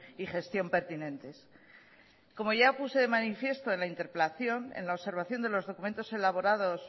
y gestión pertinentes como ya puse de manifiesto en la interpelación en la observación de los documentos elaborados